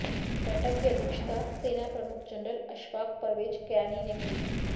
बैठक की अध्यक्षता सेना प्रमुख जनरल अशफाक परवेज कयानी ने की